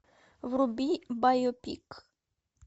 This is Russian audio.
вруби байопик